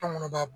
Anw kɔni b'a